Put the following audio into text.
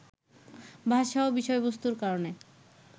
ভাষা ও বিষয়বস্তুর কারণে